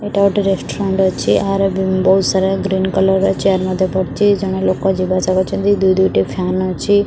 ଏଟା ଗୋଟେ ରେଷ୍ଟୁରାଣ୍ଟ ଅଛି ଏହାର ବହୁତ ସାରା ଗ୍ରୀନ କଲର ର ଚେୟାର ମଧ୍ୟ ପଡିଚି ଜଣେ ଲୋକ ଯିବା ଆସିବା କରୁଛନ୍ତି ଦୁଇ ଦୁଇ ଟି ଫ୍ୟାନ ଅଛି।